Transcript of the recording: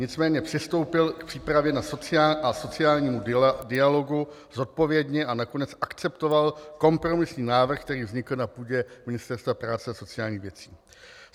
Nicméně přistoupil k přípravě a sociálnímu dialogu zodpovědně a nakonec akceptoval kompromisní návrh, který vznikl na půdě Ministerstva práce a sociálních věcí.